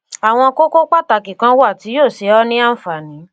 àwọn kókó pàtàkì kan wà tí yóò ṣe ọ ní ànfààní